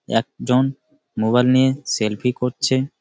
একজন মোবাইল নিয়ে সেলফি করছে ।